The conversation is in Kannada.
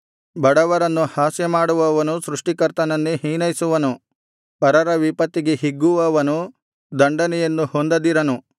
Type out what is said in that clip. ಬಡವರನ್ನು ಹಾಸ್ಯಮಾಡುವವನು ಸೃಷ್ಟಿಕರ್ತನನ್ನೇ ಹೀನೈಸುವನು ಪರರ ವಿಪತ್ತಿಗೆ ಹಿಗ್ಗುವವನು ದಂಡನೆಯನ್ನು ಹೊಂದದಿರನು